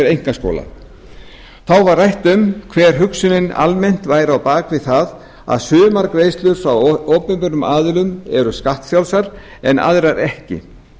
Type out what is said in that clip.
einkaskóla þá var rætt um hver hugsunin almennt væri á bak við það að sumar greiðslur frá opinberum aðilum eru skattfrjálsar en aðrar ekki